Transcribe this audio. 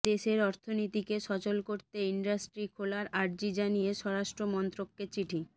দেশের অর্থনীতিকে সচল করতে ইন্ডাস্ট্রি খোলার আর্জি জানিয়ে স্বরাষ্ট্র মন্ত্রককে চিঠি